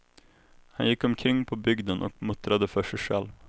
Han gick omkring på bygden och muttrade för sig själv.